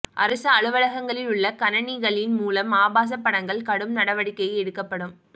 அரசு அலுவலகங்களில் உள்ள கனனிகளின் மூலம் ஆபாச படங்கள் கடும் நடவடிக்கை எடுக்கப்படும்